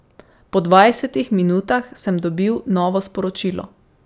Po dvajsetih minutah sem dobil novo sporočilo.